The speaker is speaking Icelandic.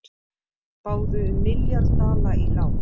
Báðu um milljarð dala í lán